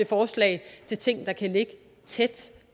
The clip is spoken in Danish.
forslag til ting der kan ligge tæt